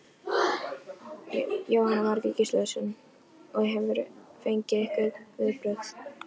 Jóhanna Margrét Gísladóttir: Og hefurðu fengið einhver viðbrögð?